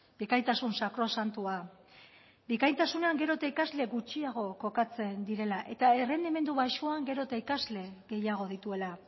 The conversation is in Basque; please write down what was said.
bikaintasun sakrosantua bikaintasunean gero eta ikasle gutxiago kokatzen direla eta errendimendu baxuan gero eta ikasle gehiago dituela